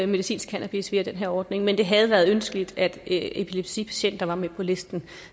medicinsk cannabis via den her ordning men det havde været ønskeligt at epilepsipatienter var med på listen